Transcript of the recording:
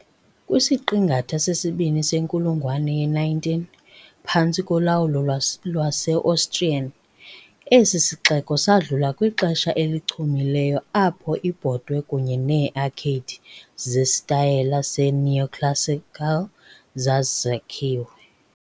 Kwisiqingatha sesibini senkulungwane ye-19, phantsi kolawulo lwase-Austrian, esi sixeko sadlula kwixesha elichumileyo apho iibhotwe kunye neearcade zesitayile se-neoclassical zazakhiwe.